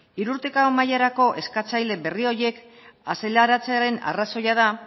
hiru urte mailarako eskatzaile berri horiek azaleratzearen arrazoia da